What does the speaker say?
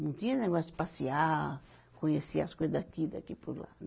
Não tinha negócio de passear, conhecer as coisa daqui e daqui por lá.